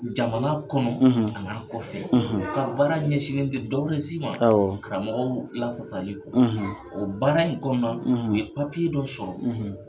Jamana kɔnɔ , ,a nana kɔfɛ, , u ka baara ɲɛsinnen tɛ dɔwɛrɛ si ma, awɔ, karamɔgɔ lafasalen kɔ, ,o baara in kɔnɔna, ,u ye papiye dɔ sɔrɔ,